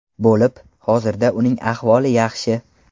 bo‘lib, hozirda uning ahvoli yaxshi.